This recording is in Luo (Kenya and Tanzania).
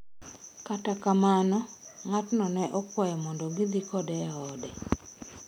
Kata kamano, ng'atno ne okwayo mondo gidhi kode e ode.